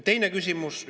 Teine küsimus.